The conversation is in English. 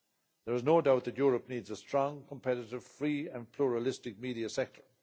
There is no doubt that Europe needs a strong, competitive, free and pluralistic media sector.